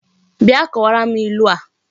Bia kowara m ilu a!